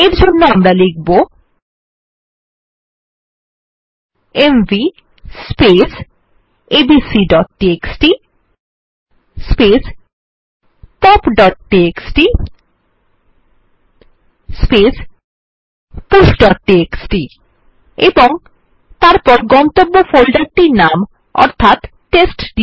এর জন্য আমরা লিখব এমভি abcটিএক্সটি popটিএক্সটি pushটিএক্সটি এবং তারপর গন্তব্য ফোল্ডারটির নাম অর্থাৎ টেস্টডির